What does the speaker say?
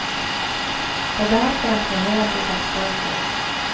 Det blir hardt for den pengelense seksbarnsmoren.